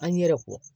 An ɲɛ yɛrɛ kɔ